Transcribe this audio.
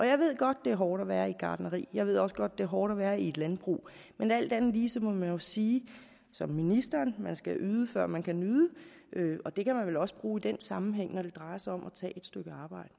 jeg ved godt det er hårdt at være i et gartneri jeg ved også godt det er hårdt at være i et landbrug men alt andet lige må man jo sige som ministeren man skal yde før man kan nyde og det kan man vel også bruge i den sammenhæng når det drejer sig om at tage et stykke arbejde